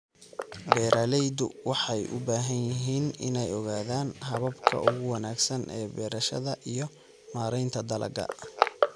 Beeraleydu waxay u baahan yihiin inay ogaadaan hababka ugu wanaagsan ee beerashada iyo maaraynta dalagga.